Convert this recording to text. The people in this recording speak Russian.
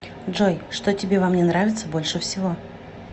джой что тебе во мне нравится больше всего